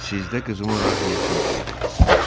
Sizdə qızımın rahiyəsini duydum.